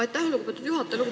Aitäh, lugupeetud juhataja!